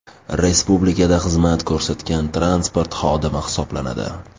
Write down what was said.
Respublikada xizmat ko‘rsatgan transport xodimi hisoblanadi.